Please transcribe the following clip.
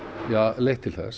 leitt til þess